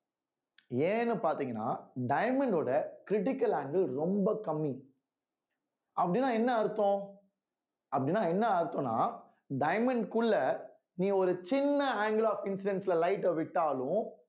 ஏன்னு பாத்தீங்கன்னா diamond ஓட critical angle ரொம்ப கம்மி அப்படின்னா என்ன அர்த்தம் அப்படின்னா என்ன அர்த்தம்ன்னா diamond குள்ள நீ ஒரு சின்ன angle of incidence ல light அ விட்டாலும்